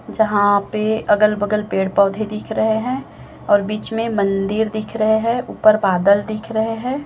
जहां पे अगल बगल पेड़ पौधे दिख रहे हैं और बीच में मंदिर दिख रहे हैं ऊपर बादल दिख रहे हैं।